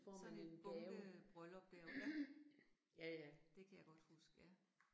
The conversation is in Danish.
Sådan bunke bryllup derude, ja. Det kan jeg godt huske ja